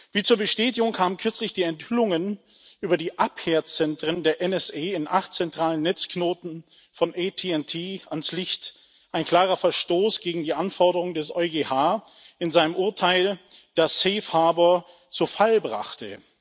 Wie zur Bestätigung kamen kürzlich die Enthüllungen über die Abhörzentren der NSA in acht zentralen Netzknoten von ATT ans Licht ein klarer Verstoß gegen die Anforderungen des EuGH in seinem Urteil, das zu Fall brachte.